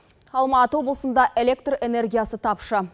алматы облысында электр энергиясы тапшы